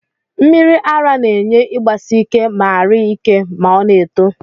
Mmiri ara na enye igbasike ma ari ike ma ọna eto